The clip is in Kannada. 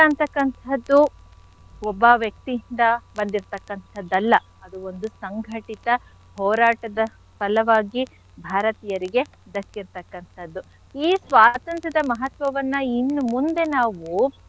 ಅಂಥಕ್ಕಂಥದ್ದು ಒಬ್ಬ ವ್ಯಕ್ತಿಯಿಂದ ಬಂದಿರ್ತಕ್ಕಂಥದ್ದಲ್ಲ ಅದು ಒಂದು ಸಂಘಟಿತ ಹೋರಾಟದ ಫಲವಾಗಿ ಭಾರತೀಯರಿಗೆ ದಕ್ಕಿರ್ತಕ್ಕಂಥದ್ದು. ಈ ಸ್ವಾತಂತ್ರ್ಯದ ಮಹತ್ವವನ್ನ ಇನ್ ಮುಂದೆ ನಾವು,